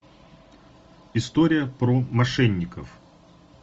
история про мошенников